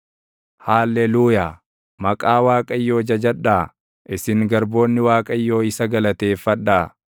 Haalleluuyaa. Maqaa Waaqayyoo jajadhaa; isin garboonni Waaqayyoo isa galateeffadhaa.